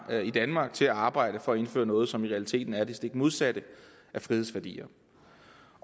i danmark til at arbejde for at indføre noget som i realiteten er det stik modsatte af frihedsværdier